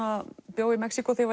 bjó í Mexíkó þegar